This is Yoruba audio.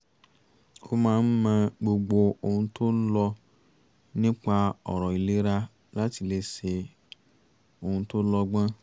ó máa ń mọ gbogbo ohun tó ń lọ nípa ọ̀rọ̀ ìlera láti lè ṣe ohun tó lọ́gbọ́n